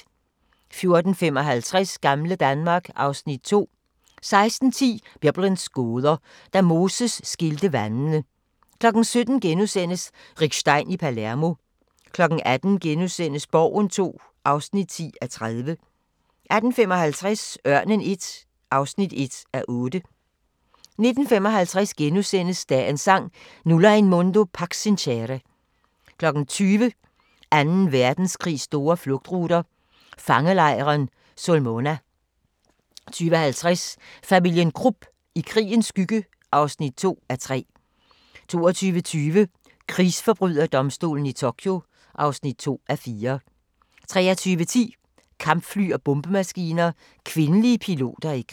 14:55: Gamle Danmark (Afs. 2) 16:10: Biblens gåder – Da Moses skilte vandene 17:00: Rick Stein i Palermo * 18:00: Borgen II (10:30)* 18:55: Ørnen I (1:8) 19:55: Dagens Sang: Nulla in mundo pax sincere * 20:00: Anden Verdenskrigs store flugtruter – fangelejren Sulmona 20:50: Familien Krupp – i krigens skygge (2:3) 22:20: Krigsforbryderdomstolen i Tokyo (2:4) 23:10: Kampfly og bombemaskiner – kvindelige piloter i krig